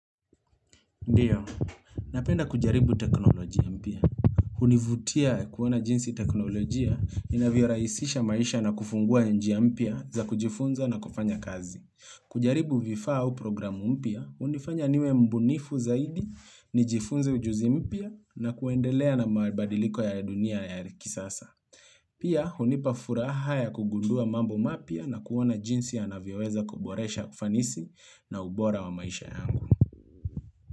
Ndiyo, napenda kujaribu teknolojia mpya. Hunivutia kuona jinsi teknoloji ya inavyorahisisha maisha na kufungua ya njiya mpia za kujifunza na kufanya kazi. Kujaribu vifaa au programu mpia, hunifanya niwe mbunifu zaidi ni jifunze ujuzi mpya na kuendelea na maabadiliko ya dunia ya kisasa. Pia, hunipa furaha ya kugundua mambo mapya na kuona jinsi ya navioweza kuboresha kufanisi na ubora wa maisha yangu.